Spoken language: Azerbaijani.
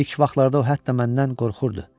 İlk vaxtlarda o hətta məndən qorxurdu.